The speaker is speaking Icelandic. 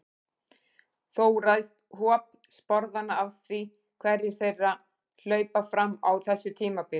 Þó ræðst hop sporðanna af því hverjir þeirra hlaupa fram á þessu tímabili.